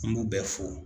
An b'u bɛɛ fo